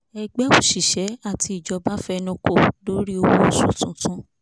ẹgbẹ́ òṣìṣẹ́ àti ìjọba fẹnukò lórí owó oṣù tuntun